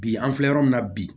Bi an filɛ yɔrɔ min na bi